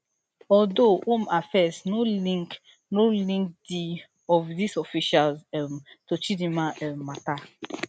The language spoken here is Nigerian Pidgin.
although home affairs no link no link di of dis officials um to chidimma um matter